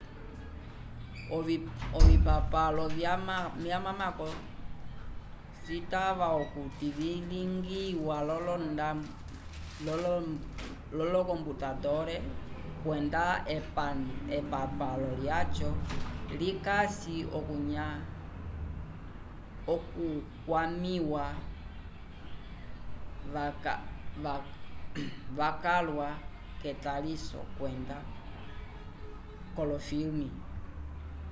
ovipapalo vyamako citava okuti vilingiwa v'olokomputandole kwenda epapalo lyaco likasi okukwamĩwa wacalwa k'etaliso kwenda k'olofilme